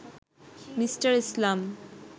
Me. Islam